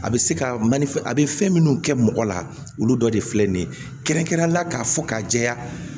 A bɛ se ka manaf a bɛ fɛn minnu kɛ mɔgɔ la olu dɔ de filɛ nin ye kɛrɛnkɛrɛnnen la k'a fɔ k'a jɛya